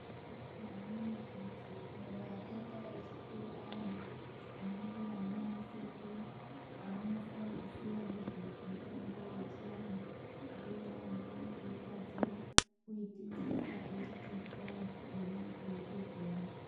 Kune amweni anthu kunyanya akaita echikuru ayani ana mbuya nanasekuru anonasa kuziya nezvemitombo yechianhu ndiwona anokone kuigadzira oitengesa eitotengesera anthu eimwa eitopora .